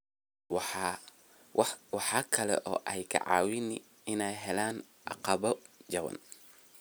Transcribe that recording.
Waxa kale oo ay ka caawiyaan in ay helaan agabyo jaban.